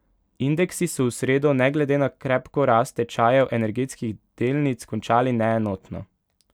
Indeksi so v sredo ne glede na krepko rast tečajev energetskih delnic končali neenotno.